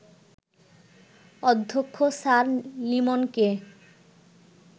অধ্যক্ষ স্যার লিমনকে